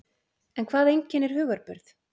En hvað einkennir hugarburð?